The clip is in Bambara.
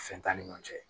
Fɛn t'an ni ɲɔɔn cɛ